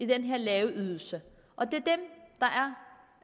den lave ydelse og det